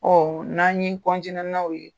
Ɔ n'an n'o ye